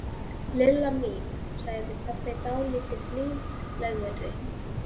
Lilla mín sagði pabbi dálítið blíðlegri.